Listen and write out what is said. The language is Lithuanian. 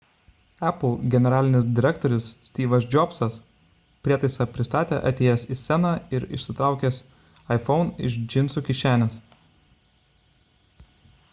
apple generalinis direktorius styvas džobsas prietaisą pristatė atėjęs į sceną ir išsitraukęs iphone iš džinsų kišenės